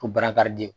Ko barakariden